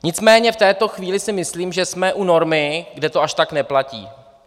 Nicméně v této chvíli si myslím, že jsme u normy, kde to až tak neplatí.